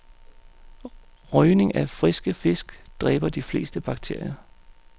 Røgning af friske fisk dræber de fleste bakterier.